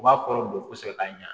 U b'a kɔrɔ dɔn kosɛbɛ k'a ɲa